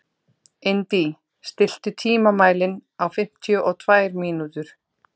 Indí, stilltu tímamælinn á fimmtíu og tvær mínútur.